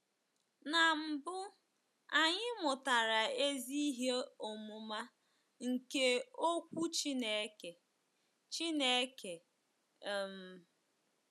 Na mbụ, anyị mụtara ezi ihe ọmụma nke Okwu Chineke. Chineke. um